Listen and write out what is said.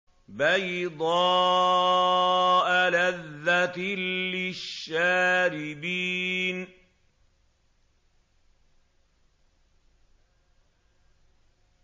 بَيْضَاءَ لَذَّةٍ لِّلشَّارِبِينَ